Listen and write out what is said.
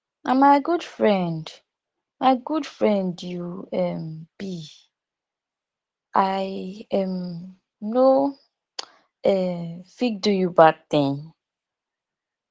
na my good friend my good friend you um be i um no um fit do you bad thing